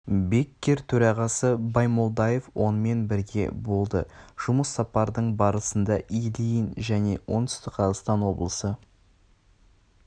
беккер төрағасы баймолдаев онымен бірге болды жұмыс сапардың барысында ильин және оңтүстік қазақстан облысы